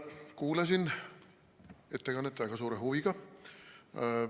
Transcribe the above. Kuulasin ettekannet väga suure huviga.